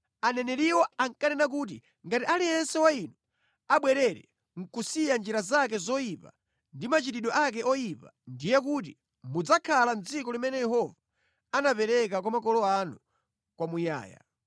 Aneneriwo ankanena kuti, “Ngati aliyense wa inu abwerere, kusiya njira zake zoyipa ndi machitidwe ake oyipa, ndiye kuti mudzakhala mʼdziko limene Yehova anapereka kwa makolo anu kwamuyaya.